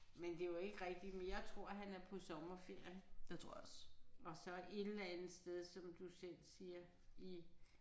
Men det er jo ikke rigtigt men jeg tror han er på sommerferie og så et eller andet sted som du selv siger i